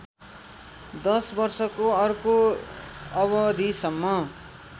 दश वर्षको अर्को अवधिसम्म